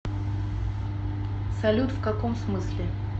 салют в каком смысле